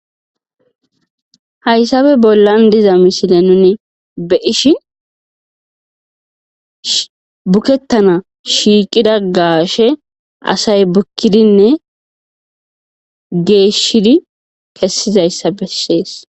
hayssabe bollan diza misile nuni be ishi bukettana shiiqida gaashe asay bukkidinne geeshshidi kessizayssa bessees